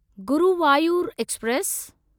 Guruvayur express